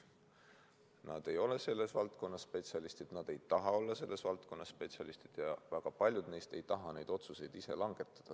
Nad ei ole selles valdkonnas spetsialistid, nad ei taha olla selles valdkonnas spetsialistid ja väga paljud neist ei taha neid otsuseid ise langetada.